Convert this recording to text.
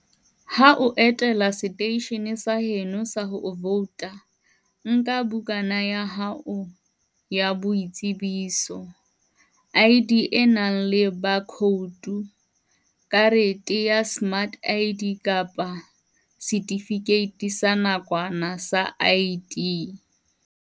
Ha o etela seteishene sa heno sa ho vouta, nka bukana ya hao ya boitsebiso, ID, e nang le baakhoutu, karete ya smart ID kapa setifikeiti sa nakwana sa ID.